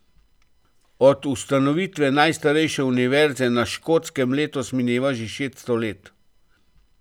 Od ustanovitve najstarejše univerze na Škotskem letos mineva že šeststo let.